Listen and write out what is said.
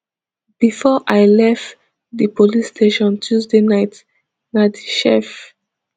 bifor i lerf di police station tuesday night na di chef